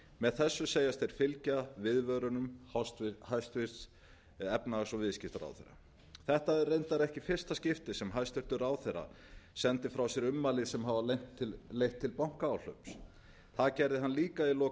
með þessu segjast þeir fylgja viðvörunum hæstvirtur efnahags og viðskiptaráðherra þetta er reyndar ekki í fyrsta skipti sem hæstvirtur ráðherra sendir frá sér ummæli sem hafa leitt til bankaáhlaups það gerði hann líka í lok